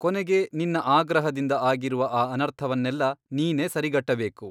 ಕೊನೆಗೆ ನಿನ್ನ ಆಗ್ರಹದಿಂದ ಆಗಿರುವ ಆ ಅನರ್ಥವನ್ನೆಲ್ಲ ನೀನೇ ಸರಿಗಟ್ಟಬೇಕು.